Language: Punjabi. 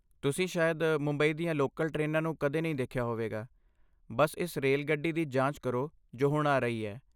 ਤੁਸੀਂ ਸ਼ਾਇਦ ਮੁੰਬਈ ਦੀਆਂ ਲੋਕਲ ਟ੍ਰੇਨਾਂ ਨੂੰ ਕਦੇ ਨਹੀਂ ਦੇਖਿਆ ਹੋਵੇਗਾ, ਬੱਸ ਇਸ ਰੇਲਗੱਡੀ ਦੀ ਜਾਂਚ ਕਰੋ ਜੋ ਹੁਣ ਆ ਰਹੀ ਹੈ।